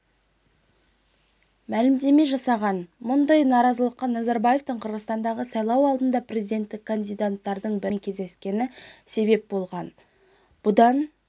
мәлімдеме жасаған мұндай наразылыққа назарбаевтың қырғызстандағы сайлау алдында президентікке кандидаттардың бірімен кездескені себеп болған бұдан